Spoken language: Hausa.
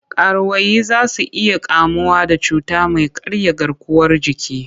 Karuwai za su iya kamuwa da cuta mai karya garkuwar jiki.